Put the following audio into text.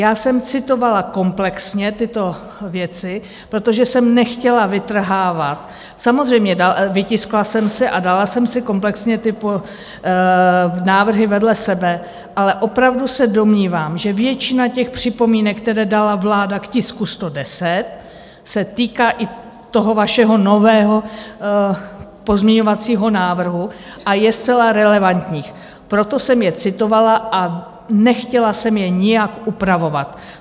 Já jsem citovala komplexně tyto věci, protože jsem nechtěla vytrhávat, samozřejmě vytiskla jsem si a dala jsem si komplexně tyto návrhy vedle sebe, ale opravdu se domnívám, že většina těch připomínek, které dala vláda k tisku 110, se týká i toho vašeho nového pozměňovacího návrhu a je zcela relevantních, proto jsem je citovala a nechtěla jsem je nijak upravovat.